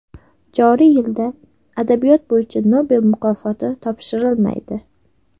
Joriy yilda adabiyot bo‘yicha Nobel mukofoti topshirilmaydi.